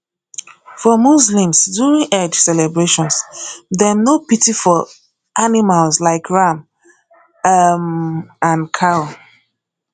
for muslims during eid celebrations dem no pity for animals like ram um and cow